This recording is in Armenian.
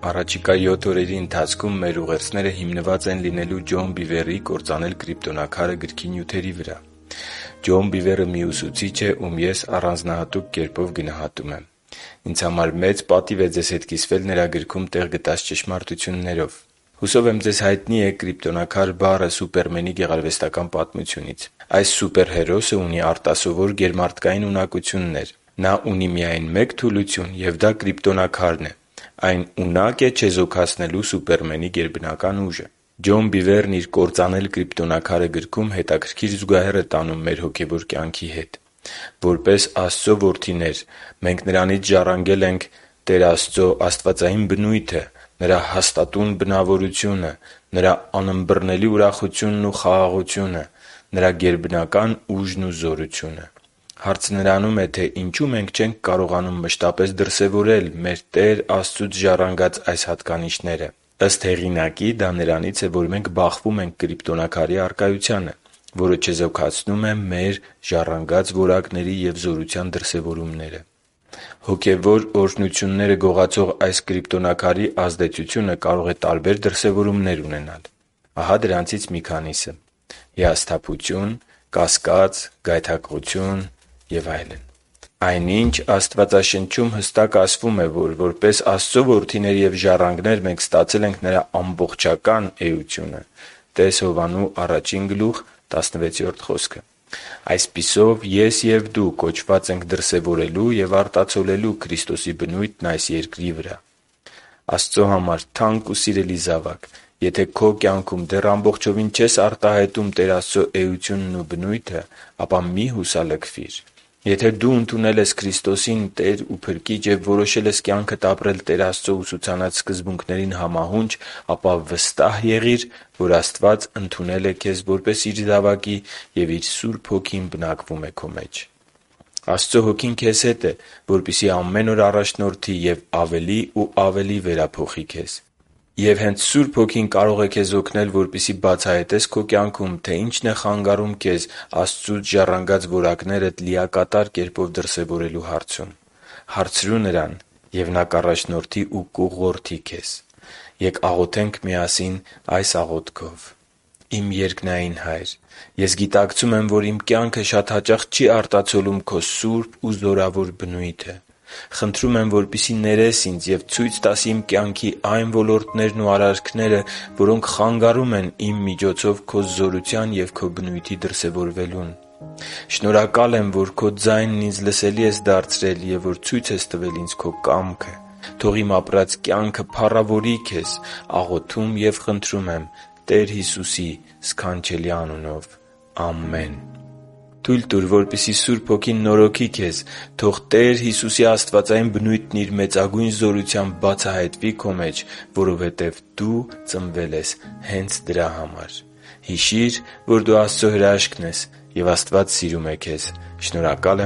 առաջիկա յոթ օրերի ընթացքում մեր ուղերձները հիմնված են լինելու Ջոն Բիվերի«Կործանել կրիպտոնաքարը» գրքի նյութերի վրա։ Ջոն Բիվերը մի ուսուցիչ է, ում ես առանձահատուկ կերպով գնահատում եմ: Ինձ համար մեծ պատիվ է ձեզ հետ կիսվել նրա գրքում տեղ գտած ճշմարտություններով: Մեզանից շատերին հայտնի է «կրիպտոնաքար» բառը Սուպերմենի գեղարվեստական պատմությունից: Այս սուպերհերոսը ունի արտասովոր, գերմարդկային ունակություններ: Նա ունի միայն մեկ թուլություն, և դա կրիպտոնաքարն է: Այն ունակ է չեզոքացնելու Սուպերմենի գերբնական ուժը։ Ջոն Բիվերն իր «Կործանել կրիպտոնաքարը» գրքում հետաքրքիր զուգահեռ է տանում մեր հոգևոր կյանքի հետ: Որպես Աստծո որդիներ մենք Նրանից ժառանգել ենք. - Տեր Աստծո աստվածային բնությունը, - Նրա հաստատուն բնավորությունը, - Նրա անըմբռնելի ուրախությունն ու խաղաղությունը, - Նրա գերբնական ուժն ու զորությունը: Հարցը նրանում է, թե ինչո՞ւ մենք չենք կարողանում մշտապես դրսևորել մեր Տեր Աստծուց ժառանգած այս հատկանիշները: Ըստ հեղինակի, դա նրանից է, որ մենք բախվում ենք «կրիպտոնաքարի» առկայությանը, որը չեզոքացնում է մեր ժառանգած որակների ու զորության դրսևորումները: Հոգևոր օրհնությունները գողացող այս «կրիպտոնաքարի» ազդեցությունը կարող է լինել և տարբեր դրսևորումներ ունենալ: Ահա դրանցից մի քանիսը. - Հիասթափություն, - Կասկած, - Գայթակղություն, - Եվ այլն։ Այնինչ, Աստվածաշնչում հստակ ասվում է, որ որպես Աստծո որդիներ և ժառանգներ, մենք ստացել ենք Նրա ամբողջական էությունը (տե՛ս Հովհաննես 1․16 խոսքը)։ Այսպիսով, ես և դու կոչված ենք դրսևորելու և արտացոլելու Քրիստոսի բնույթն այս Երկրի վրա: Աստծո համար թանկ ու սիրելի՛ զավակ, եթե քո կյանքում դեռ ամբողջովին չես արտահայտում Տեր Աստծո էությունն ու բնույթը, ապա մի՛ հուսալքվիր։ Եթե դու ընդունել ես Քրիստոսին Տեր ու Փրկիչ և որոշել ես կյանքդ ապրել Տեր Աստծո ուսուցանած սկզբունքներին համահունչ, ապա վստահ եղի՛ր, որ Աստված ընդունել է քեզ, որպեսզի Իր զավակի և Իր Սուրբ Հոգին է բնակվում քո մեջ։ Աստծո Հոգին քեզ հետ է, որպեսզի ամեն օր առաջնորդի և ավելի ու ավելի վերափոխի քեզ: Եվ հենց Սուրբ Հոգին կարող է քեզ օգնել, որպեսզի բացահայտես քո կյանքում, թե ինչն է քեզ խանգարում քեզ Աստծուց ժառանգած որակներիդ լիակատար կերպով դրսևորելու հարցում։ Հարցրո՛ւ Նրան, և Նա կառաջնորդի ու կուղղորդի քեզ։ Ե՛կ աղոթենք միասին այս աղոթքով․ «Իմ երկնային Հա՛յր, ես գիտակցում եմ, որ իմ կյանքը շատ հաճախ չի արտացոլում Քո սուրբ ու զորավոր բնույթը: Խնդրում եմ, որպեսզի ներես ինձ և ցույց տաս իմ կյանքի այն ոլորտներն ու արարքները, որոնք խանգարում են իմ միջոցով Քո զորության և Քո բնույթի դրսևորվելուն։ Շնորհակալ եմ, որ Քո ձայնն ինձ լսելի ես դարձրել և որ ցույց ես տվել ինձ Քո կամքը: Թո՛ղ իմ ապրած կյանքը փառավորի Քեզ: Աղոթում և խնդրում եմ Տեր Հիսուսի սքանչելի անունով։ Ամե՛ն»։ Թույ՛լ տուր, որպեսզի Սուրբ Հոգին նորոգի քեզ: Թո՛ղ Տեր Հիսուսի աստվածային բնույթն իր մեծագույն զորությամբ բացահայտվի քո մեջ, որովհետև դու ծնվել ես հենց դրա համար: Հիշի՛ր, որ դու Աստծո հրաշքն ես, և Աստված սիրում է քեզ։ Շնորհակալ